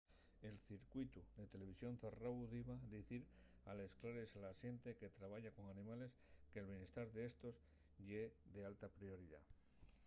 el circuitu de televisión zarráu diba dicir a les clares a la xente que trabaya con animales que’l bientar d’éstos ye d’alta prioridá.